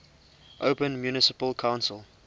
open municipal council